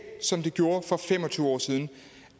som det gjorde for fem og tyve år siden